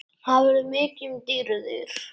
Það verður mikið um dýrðir.